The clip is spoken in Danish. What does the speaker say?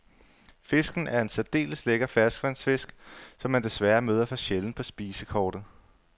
Fisken er en særdeles lækker ferskvandsfisk, som man desværre møder for sjældent på spisekortet.